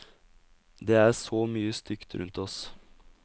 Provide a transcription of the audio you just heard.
Det er så mye stygt rundt oss.